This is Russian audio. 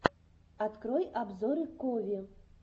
открой обзоры кови